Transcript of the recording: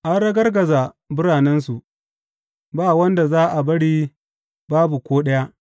An ragargaza biranensu; ba wanda za a bari, babu ko ɗaya.